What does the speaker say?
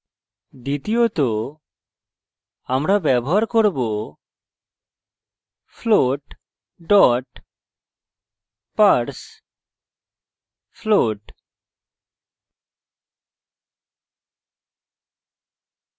দ্বিতীয়ত আমরা ব্যবহার করব float parsefloat